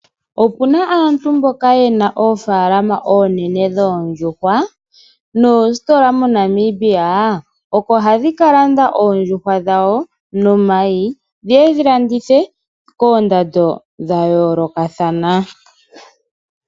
Opuna aantu mboka yena ofaalama onene dhondjuhwa nositola moNamibia oko hadhikalanda oondjuhwa dhawo nomayi dhiye dhilandithe kondando dhayoloka thana.